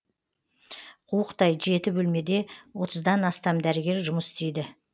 қуықтай жеті бөлмеде отыздан астам дәрігер жұмыс істейді